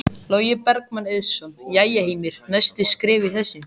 Logi Bergmann Eiðsson: Jæja Heimir, næstu skref í þessu?